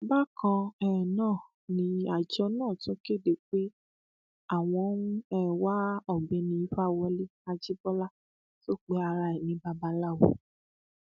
bákan um náà ni àjọ náà tún kéde pé àwọn ń um wá ọgbẹni ìfawọlẹ ajíbọlá tó pe ara rẹ ní babaláwo